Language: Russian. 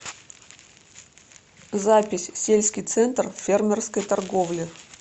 запись сельский центр фермерской торговли